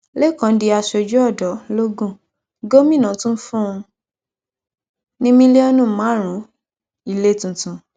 laycón di aṣojú odò logun gómìnà tún fún un ní mílíọnù márùnún ilé tuntun